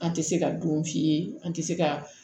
An tɛ se ka dun f'i ye an tɛ se ka